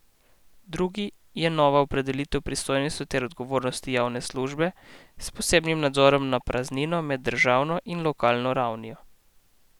Drugi je nova opredelitev pristojnosti ter odgovornosti javne službe s posebnim ozirom na praznino med državno in lokalno ravnijo.